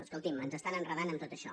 escolti’m ens estan enredant amb tot això